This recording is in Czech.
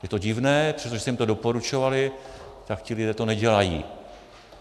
Je to divné, přestože jste jim to doporučovali, tak ti lidé to nedělají.